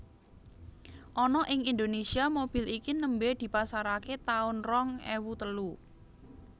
Ana ing Indonésia mobil iki nembe dipasarake taun rong ewu telu